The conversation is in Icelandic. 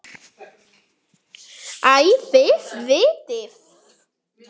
Æ, þið vitið.